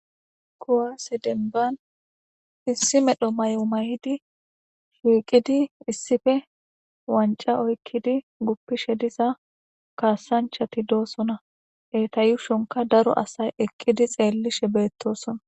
Kuwa sedemban issi medho may'o may'di shiiqidi issife wanca oykkidi guppishe diza kaasanchati doosona etayushonka daro asay ekkidi xeellishe beettosona.